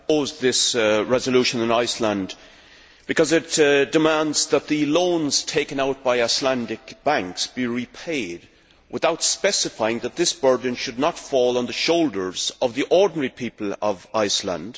Madam President, I oppose this resolution on Iceland because it demands that the loans taken out by Icelandic banks be repaid without specifying that this burden should not fall on the shoulders of the ordinary people of Iceland.